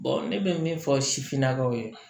ne bɛ min fɔ sifinnakaw ye